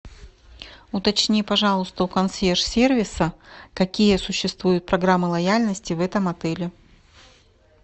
уточни пожалуйста у консьерж сервиса какие существуют программы лояльности в этом отеле